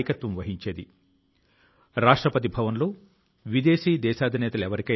ఇదే మాదిరి గా మంగోలియా కు చెందిన 93 సంవత్సరాల ప్రొఫెసర్ జె